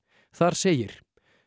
þar segir